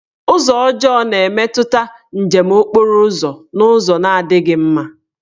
Ụzọ ọjọọ na-emetụta njem okporo ụzọ n'ụzọ na-adịghị mma.